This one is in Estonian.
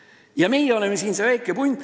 Ja meie oleme siin see väike punt.